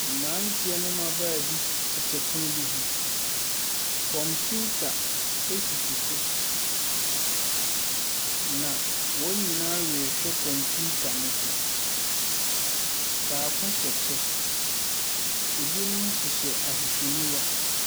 Nnipa bi wɔ po so a wɔrekyɛ nam. Wɔapegya wɔn nɛɛte a akye nam no bi wɔ mu regu kodoɔ no mu. Ebi nhyɛ ataadeɛ. Ɛbi nso hyɛ kyɛ. Ɔbaako hyɛ kɔkɔɔɔ ogyina kodoɔ no ano.